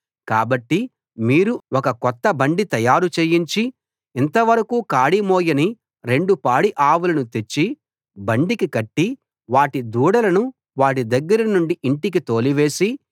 కాబట్టి మీరు ఒక కొత్త బండి తయారు చేయించి ఇంతవరకూ కాడి మోయని రెండు పాడి ఆవులను తెచ్చి బండికి కట్టి వాటి దూడలను వాటి దగ్గర నుండి ఇంటికి తోలివేసి